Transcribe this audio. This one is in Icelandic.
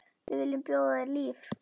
Við viljum bjóða þér líf.